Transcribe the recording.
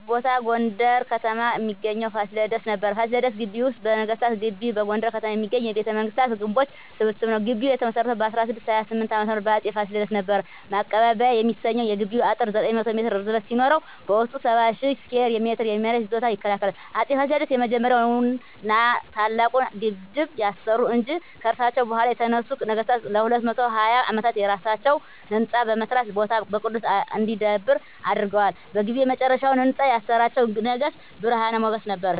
ያየሁት ቦታ በጎንደር ከተማ እሚገኘዉን ፋሲለደስን ነበር። ፋሲለደስ ግቢ ወይም ነገስታት ግቢ በጎንደር ከተማ የሚገኝ የቤተመንግስታት ግምቦች ስብስብ ነዉ። ግቢዉ የተመሰረተዉ በ1628 ዓ.ም በአፄ ፋሲለደስ ነበር። ማቀባበያ የሚሰኘዉ የግቢዉ አጥር 900 ሜትር ርዝመት ሲኖረዉ በዉስጡ 70,000 ስኩየር ሜትር የመሬት ይዞታ ይከልላል። አፄ ፋሲለደስ የመጀመሪያዉን ና ታላቁን ግድብ ያሰሩ እንጂ፣ ከርሳቸዉ በኋላ የተነሱት ነገስታትም ለ220 አመታት የየራሳቸዉን ህንፃ በመስራት ቦታዉ በቅርስ እንዲዳብር አድርገዋል። በግቢዉ የመጨረሻዉን ህንፃ ያሰራችዉ ንግስት ብርሀን ሞገስ ነበረች።